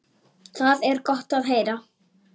Það er gott að heyra.